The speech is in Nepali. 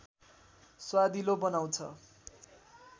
स्वादिलो बनाउँछ